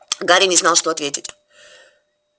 гарри не знал что ответить